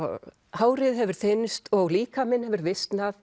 hárið hefur þynnst og líkaminn hefur